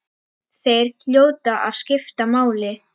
Þeir hljóta að skipta máli.